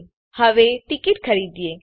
તો ચાલો હવે ટીકીટ ખરીદીએ